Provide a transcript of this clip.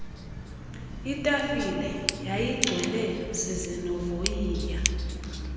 itafile yayigcwele zizinovoyiya